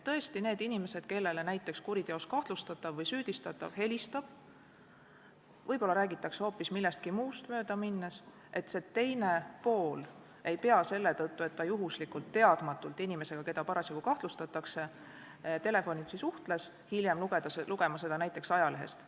Tõesti, kui inimesele helistab näiteks kuriteos kahtlustatav või süüdistatav – võib-olla räägitakse hoopis millestki muust möödaminnes –, siis see teine pool ei pea selle tõttu, et ta juhuslikult suhtles telefonitsi inimesega, keda parasjagu kahtlustatakse, hiljem lugema selle kohta näiteks ajalehest.